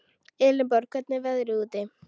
Elenborg, hvernig er veðrið úti?